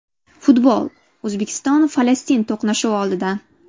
Futbol: O‘zbekiston Falastin to‘qnashuvi oldidan.